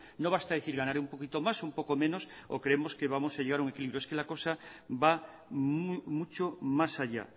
no basta decir que ganaré un poquito más un poco menos o creemos que vamos a llegar a un equilibrio la cosa va mucho más allá